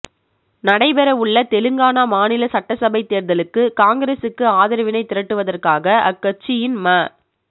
நடைபெறவுள்ள தெலுங்கானா மாநில சட்டசபை தேர்தலுக்கு காங்கிரஸிக்கு ஆதரவினை திரட்டுவதற்காக அக்கட்சியின் ம